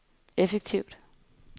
effektivt